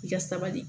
I ka sabali